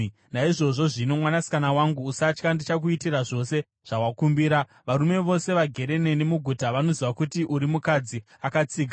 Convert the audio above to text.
Naizvozvo zvino, mwanasikana wangu, usatya. Ndichakuitira zvose zvawakakumbira. Varume vose vagere neni muguta vanoziva kuti uri mukadzi akatsiga.